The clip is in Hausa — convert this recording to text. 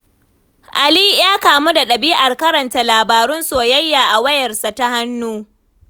Ali ya kamu da ɗabi'ar karanta labarun soyayya a wayarsa ta hannu.